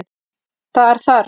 Þar þarf